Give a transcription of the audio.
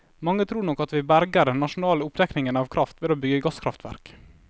Mange tror nok at vi berger den nasjonale oppdekningen av kraft ved å bygge gasskraftverk.